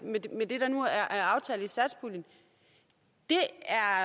med det der nu er aftalt i satspuljen det